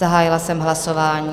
Zahájila jsem hlasování.